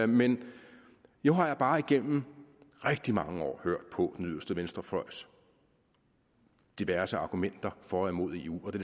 men nu har jeg bare gennem rigtig mange år hørt på den yderste venstrefløjs diverse argumenter for og imod eu og det